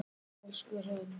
Elsku Hrönn.